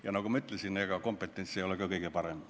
Ja nagu ma ütlesin, ega kompetents ei ole kõige suurem.